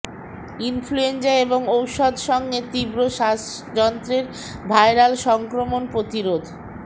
influenza এবং ঔষধ সঙ্গে তীব্র শ্বাসযন্ত্রের ভাইরাল সংক্রমণ প্রতিরোধ